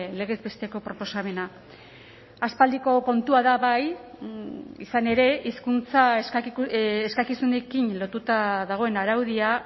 legez besteko proposamena aspaldiko kontua da bai izan ere hizkuntza eskakizunekin lotuta dagoen araudia